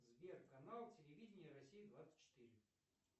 сбер канал телевидения россия двадцать четыре